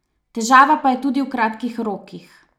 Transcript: Težava pa je tudi v kratkih rokih.